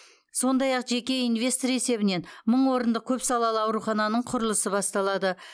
сондай ақ жеке инвестор есебінен мың орындық көпсалалы аурухананың құрылысы басталады